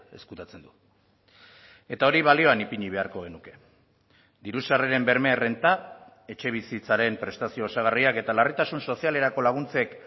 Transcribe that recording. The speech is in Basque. ezkutatzen du eta hori balioan ipini beharko genuke diru sarreren berme errenta etxebizitzaren prestazio osagarriak eta larritasun sozialerako laguntzek